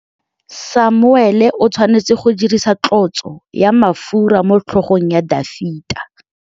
Samuele o tshwanetse go dirisa tlotsô ya mafura motlhôgong ya Dafita.